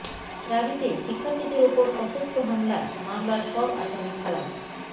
রাবিতে শিক্ষার্থীদের ওপর সশস্ত্র হামলায় মামলার সব আসামি খালাস